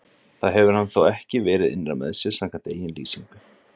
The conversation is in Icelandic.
Það hefur hann þó ekki verið innra með sér, samkvæmt eigin lýsingu.